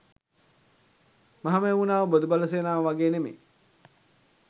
මහමෙව්නාව බොදුබල සේනාව වගේ නෙවේ